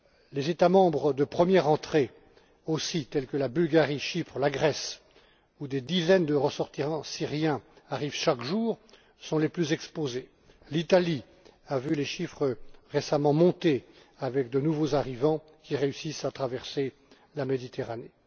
Les États membres de première entrée aussi, tels que la Bulgarie, Chypre, la Grèce, où des dizaines de ressortissants syriens arrivent chaque jour, sont les plus exposés. L'Italie a vu les chiffres récemment monter avec de nouveaux arrivants qui réussissent à traverser la Méditerranée.